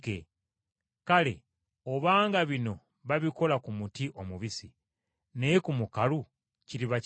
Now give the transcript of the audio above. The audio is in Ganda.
Kale, obanga bino babikola ku muti omubisi, naye ku mukalu kiriba kitya?”